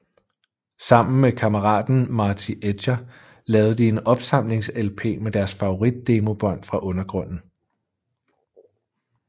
Sammen med kammeraten Marty Edger lavede de en opsamlings lp med deres favorit demobånd fra undergrunden